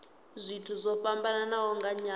zwithu zwo fhambanaho nga nyambo